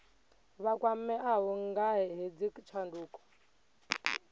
vha kwameaho nga hedzi tshanduko